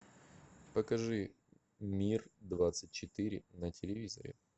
покажи мир двадцать четыре на телевизоре